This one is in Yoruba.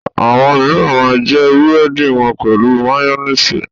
Àwọn mìíràn máa ń jẹ búrẹ́dì wọn pẹ̀lú máyónísì.